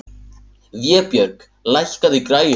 Vébjörg, lækkaðu í græjunum.